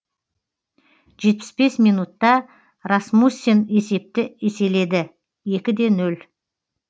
жетпіс бес минутта расмуссен есепті еселеді екі де нөл